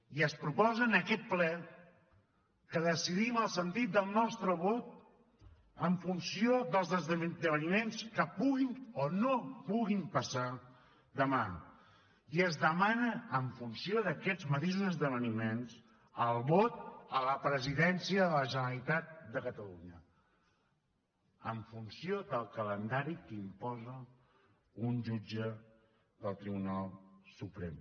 i es proposa en aquest ple que decidim el sentit del nostre vot en funció dels esdeveniments que puguin o no puguin passar demà i es demana en funció d’aquests mateixos esdeveniments el vot a la presidència de la generalitat de catalunya en funció del calendari que imposa un jutge del tribunal suprem